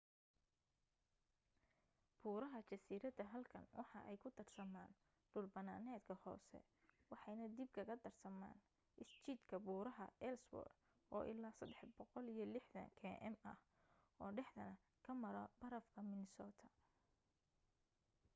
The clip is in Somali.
buuraha jasiirada halkan waxa ay ku darsamaan dhul banaanedka hoose waxeyna dib kaga darsamaan isjiidka buuraha ellsworth oo ilaa 360 km ah oo dhaxdana ka mara barafka minnesota